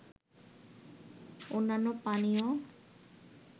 অন্যান্য পানীয়